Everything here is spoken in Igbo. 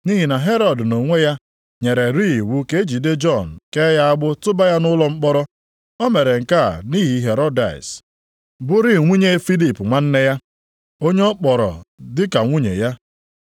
Nʼihi na Herọd nʼonwe ya nyererị iwu ka e jide Jọn kee ya agbụ tụba ya nʼụlọ mkpọrọ. O mere nke a nʼihi Herodịas bụrịị nwunye Filip nwanne ya, onye ọ kpọrọ dịka nwunye ya.